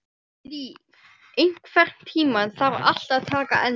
Líf, einhvern tímann þarf allt að taka enda.